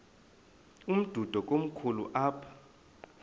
umdudo komkhulu apha